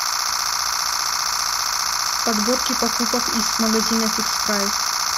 подборки покупок из магазина фикс прайс